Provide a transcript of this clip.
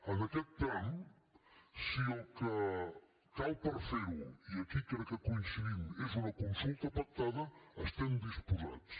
en aquest tram si el que cal per ferho i aquí crec que coincidim és una consulta pactada hi estem disposats